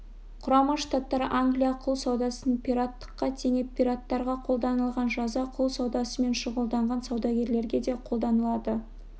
құрама штаттар англия құл саудасын пираттыққа теңеп пираттарға қолданылған жаза құл саудасымен шұғылданған саудагерлерге де қолданылады